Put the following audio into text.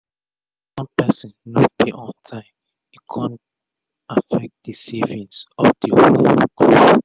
as one pesin no pay on tym e kon affect d saving of d whole group